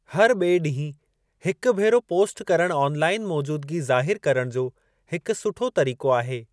हर ॿिऐ ॾींहुं हिकु भेरो पोस्ट करणु ऑनलाइन मौजूदगी ज़ाहिर करणु जो हिकु सुठो तरीक़ो आहे।